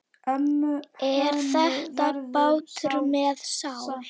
Er þetta bátur með sál?